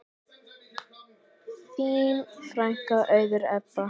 Þín frænka, Auður Ebba.